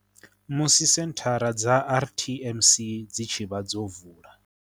Musi senthara dza RTMC dzi tshi vha dzo vula